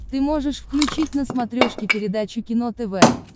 ты можешь включить на смотрешке передачу кино тв